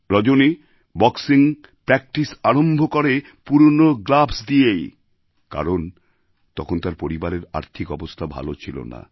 রজনী boxing practice আরম্ভ করে পুরনো গ্লাভস দিয়েই কারণ তখন তার পরিবারের আর্থিক অবস্থা ভালো ছিল না